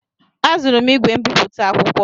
Azụrụ m ígwè mbipụta akwụkwọ.